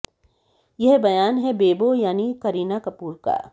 यह बयान है बेबो यानि की करीना कपूर का